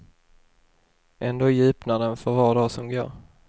Ändå djupnar den för var dag som går.